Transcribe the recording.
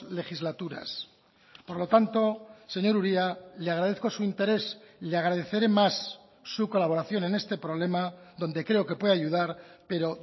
legislaturas por lo tanto señor uria le agradezco su interés le agradeceré más su colaboración en este problema donde creo que puede ayudar pero